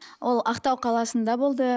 ол ақтау қаласында болды